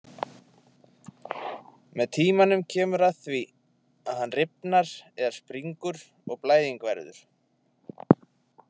Með tímanum kemur að því að hann rifnar eða springur og blæðing verður.